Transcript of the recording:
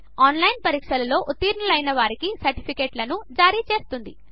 online పరీక్ష pass అయిన వారికి సర్టిఫికేట్లను జారీచేస్తుంది